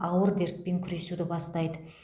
ауыр дертпен күресуді бастайды